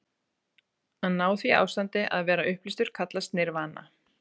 Að ná því ástandi, að vera upplýstur, kallast nirvana.